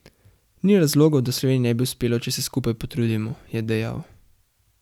Ni razlogov, da Sloveniji ne bi uspelo, če se skupaj potrudimo, je dejal.